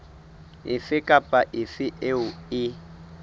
efe kapa efe eo e